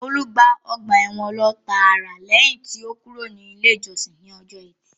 Olú gba ọgbà ẹ̀wọ̀n lọ tààrà lẹ́yìn tí ó kúrò ní ilé ìjọsìn ní ọjọ́ etí